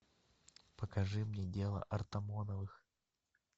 покажи мне дело артамоновых